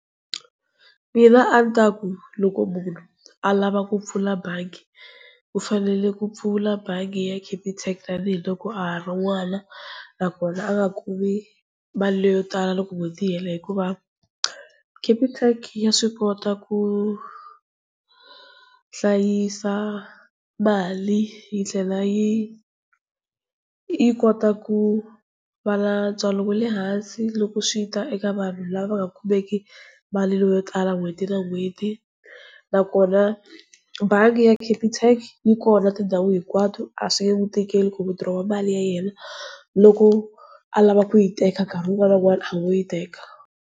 Mina a ni ta ku loko munhu a lava ku pfula bangi, u fanele ku pfula bangi ya Capitec tanihiloko a ha ri n'wana, nakona a nga kumi mali leyo tala loko n'hweti yi hela, hikuva Capitec ya swi kota ku hlayisa mali, yi tlhela yi yi kota ku va na ntswalo wa le hansi loko swi ta eka vanhu lava nga kumeki mali leyo tala n'hweti na n'hweti. Nakona bangi ya Capitec yi kona tindhawu hinkwato a swi nge n'wi tikeli ku withdraw mali ya yena loko a lava ku yi teka nkarhi wun'wana na wun'wana a ngo yi yi teka.